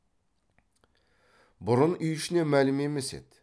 бұрын үй ішіне мәлім емес еді